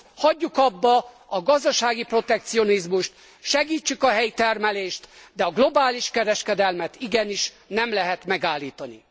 Hagyjuk abba a gazdasági protekcionizmust, segítsük a helyi termelést, de a globális kereskedelmet igenis nem lehet megállítani.